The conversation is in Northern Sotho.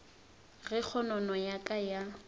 ge kgonono ya ka ya